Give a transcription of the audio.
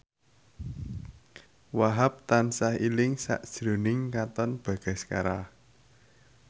Wahhab tansah eling sakjroning Katon Bagaskara